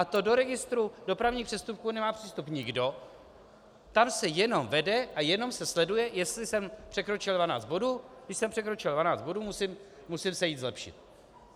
A to do registru dopravních přestupků nemá přístup nikdo, tam se jenom vede a jenom se sleduje, jestli jsem překročil 12 bodů, když jsem překročil 12 bodů, musím se jít zlepšit.